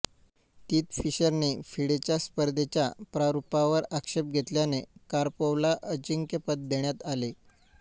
तीत फिशरने फिडेच्या स्पर्धेच्या प्रारुपावर आक्षेप घेतल्याने कार्पोवला अजिंक्यपद देण्यात आले